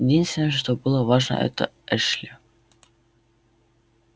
единственное что было важно это эшли